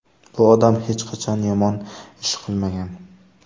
Bu odam hech qachon yomon ish qilmagan.